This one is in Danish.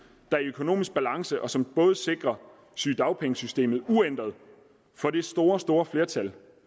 er i økonomisk balance og som både sikrer sygedagpengesystemet uændret for de store store flertal